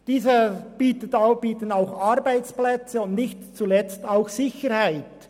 Dieser bietet ebenfalls Arbeitsplätze und nicht zuletzt auch Sicherheit.